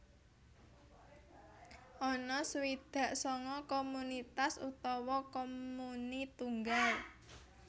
Ana swidak sanga komunitas utawa comuni tunggal